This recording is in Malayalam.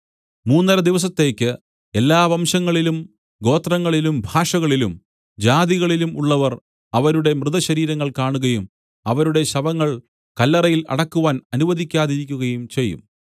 മൂന്നരദിവസത്തേക്ക് എല്ലാ വംശങ്ങളിലും ഗോത്രങ്ങളിലും ഭാഷകളിലും ജാതികളിലും ഉള്ളവർ അവരുടെ മൃതശരീരങ്ങൾ കാണുകയും അവരുടെ ശവങ്ങൾ കല്ലറയിൽ അടക്കുവാൻ അനുവദിക്കാതിരിക്കുകയും ചെയ്യും